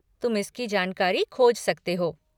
तुम इसकी जानकारी खोज सकते हो।